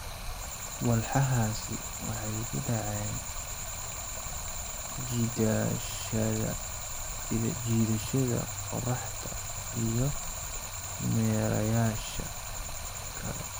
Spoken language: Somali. Walxahaasi waxay ku dhaceen jiidashada qorraxda iyo meerayaasha kale.